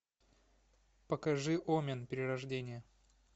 покажи омен перерождение